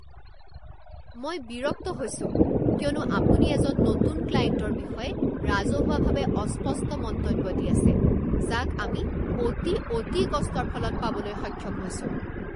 মই বিৰক্ত হৈছো কিয়নো আপুনি এজন নতুন ক্লায়েণ্টৰ বিষয়ে ৰাজহুৱাভাৱে অস্পষ্ট মন্তব্য দি আছে যাক আমি অতি অতি কষ্টৰ ফলত পাবলৈ সক্ষম হৈছোঁ।